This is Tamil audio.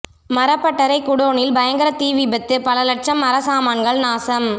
மரப்பட்டறை குடோனில் பயங்கர தீ விபத்து பல லட்சம் மரச்சாமான்கள் நாசம்